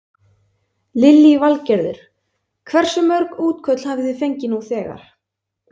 Lillý Valgerður: Hversu mörg útköll hafi þið fengið nú þegar?